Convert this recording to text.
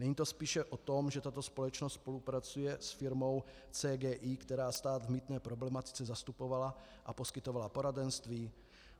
Není to spíše o tom, že tato společnost spolupracuje s firmou CGI, která stát v mýtné problematice zastupovala a poskytovala poradenství?